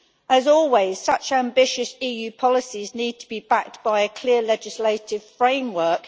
As always, such ambitious EU policies need to be backed by a clear legislative framework.